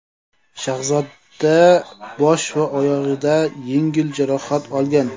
Shahzoda bosh va oyog‘idan yengil jarohat olgan.